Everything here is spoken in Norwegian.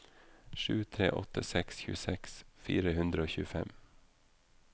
sju tre åtte seks tjueseks fire hundre og tjuefem